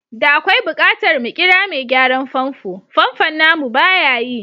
Da akwai bukatar mu kira mai gyaran famfo, famfon namu baya yi.